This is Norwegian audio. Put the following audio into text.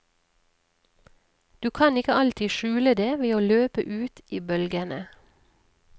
Du kan ikke alltid skjule det ved å løpe ut i bølgene.